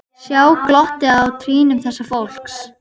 Sjá glottið á trýnum þessa fólks.